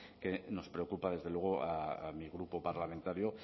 que nos preocupa desde luego a mi grupo parlamentario